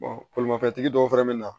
bolimafɛntigi dɔw fɛnɛ bɛ na